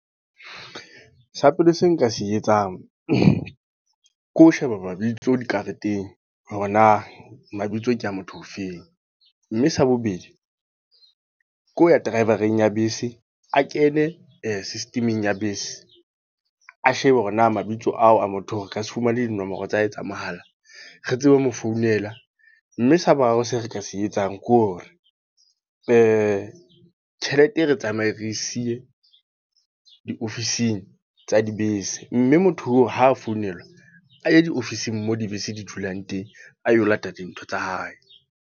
Sa pele seo nka se etsang. Ke ho sheba mabitso dikareteng. Hore na, mabitso ke a motho o feng. Mme sa bobedi. Ke ho ya driver-eng ya bese, a kene system-eng ya bese. A shebe hore na mabitso ao a motho oo re ka se fumane dinomoro tsa ho etsa mahala, re tsebe ho mo founela. Mme sa boraro se re ka se etsang, ke hore tjhelete re tsamaye re siye diofising tsa dibese. Mme motho oo ha founelwa, a ye diofising moo dibese di dulang teng. A yo lata dintho tsa hae.